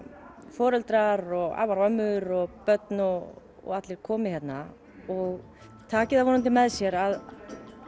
foreldrar og afar og ömmur og börn og allir komi hérna og taki það vonandi með sér að